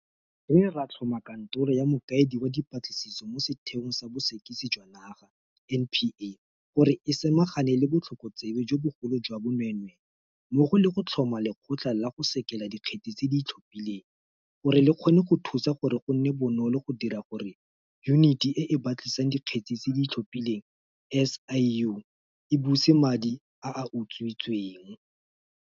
Re ne ra tlhoma Kantoro ya Mokaedi wa Dipatlisiso mo Sethe ong sa Bosekisi jwa Naga, NPA, gore e samagane le botlhokotsebe jo bogolo jwa bonweenwee mmogo le go tlhoma Lekgotla la go Sekela Dikgetse tse di Itlhophileng gore le kgone go thusa gore go nne bonolo go dira gore Yuniti e e Batlisisang Dikgetse tse di Itlhophileng, SIU, e buse madi a a utswitsweng.